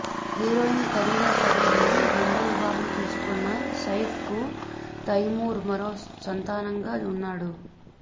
heroine Kareena Kapoor ని రెండో వివాహం చేసుకున్న సైఫ్ కి తైమూర్ మరో సంతానంగా ఉన్నాడు